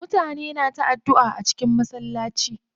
Mutane na ta addua a cikin masallaci.